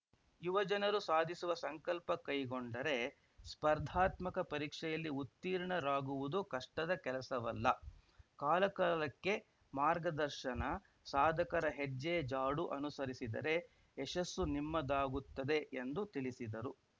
ಯುವಜನರು ಸಾಧಿಸುವ ಸಂಕಲ್ಪ ಕೈಗೊಂಡರೆ ಸ್ಪರ್ಧಾತ್ಮಕ ಪರೀಕ್ಷೆಯಲ್ಲಿ ಉತ್ತೀರ್ಣರಾಗುವುದು ಕಷ್ಟದ ಕೆಲಸವಲ್ಲ ಕಾಲಕಾಲಕ್ಕೆ ಮಾರ್ಗದರ್ಶನ ಸಾಧಕರ ಹೆಜ್ಜೆ ಜಾಡು ಅನುಸರಿಸಿದರೆ ಯಶಸ್ಸು ನಿಮ್ಮದಾಗುತ್ತದೆ ಎಂದು ತಿಳಿಸಿದರು